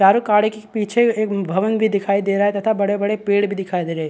चारों कार के पीछे एक भवन भी दिखाई दे रहा तथा बड़े-बड़े पेड़ भी दिखाई दे रहे --